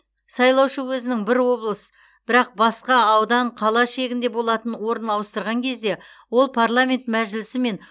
сайлаушы өзінің бір облыс бірақ басқа аудан қала шегінде болатын орнын ауыстырған кезде ол парламент мәжілісі мен